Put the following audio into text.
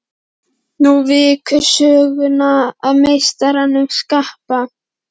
Nú víkur sögunni að meistaranum spaka.